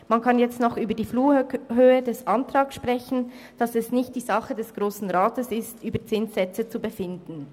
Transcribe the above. Man kann jetzt noch über die Flughöhe des Antrags sprechen und darüber, dass es nicht die Sache des Grossen Rats ist, über Zinssätze zu befinden.